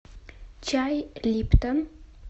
чай липтон